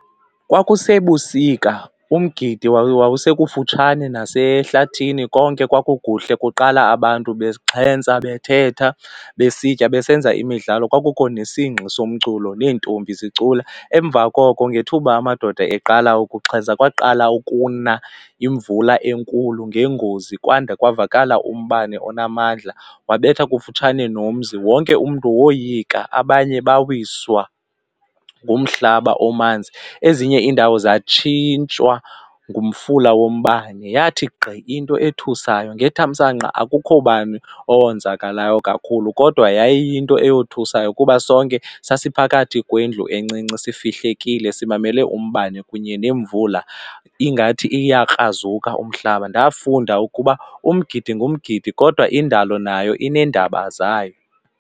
Kwakusebusika umgidi wawusekufutshane nasehlathini konke kwakukuhle kuqala abantu bexhentsa bethetha besitya besenza imidlalo kwakukho nesingxi somculo neentombi zicula emva koko ngethuba amadoda eqala ukuxhentsa kwakuqala ukuna futhi imvula enkulu ngeengozi kwada kwavakala umbane onamandla wabetha kufutshane nomzi. Wonke umntu woyika abanye bawiswa ngumhlaba omanzi, ezinye iindawo zatshintshwa ngumfula wombane, yathi gqi into ethusayo ngethamsanqa akukho bani owonzakelayo kakhulu. Kodwa yayiyinto eyothusayo kuba sonke sesiphakathi kwendlu encinci sifihlekile simamele umbane kunye nemvula ingathi iyakrazuka umhlaba. Ndafunda ukuba umgidi ngumgidi kodwa indalo nayo ineendaba zayo.